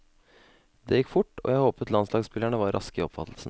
Det gikk fort, og jeg håpet landslagsspillerne var raske i oppfattelsen.